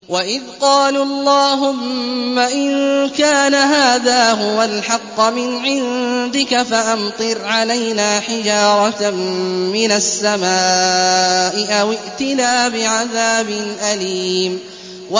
وَإِذْ قَالُوا اللَّهُمَّ إِن كَانَ هَٰذَا هُوَ الْحَقَّ مِنْ عِندِكَ فَأَمْطِرْ عَلَيْنَا حِجَارَةً مِّنَ السَّمَاءِ أَوِ ائْتِنَا بِعَذَابٍ أَلِيمٍ